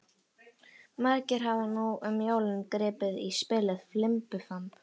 Margir hafa nú um jólin gripið í spilið Fimbulfamb.